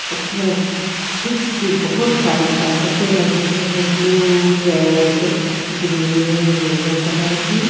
उसमें चिप्स की बहुत सारी पेकेटे लगी हुई है blue red green yellow colour की.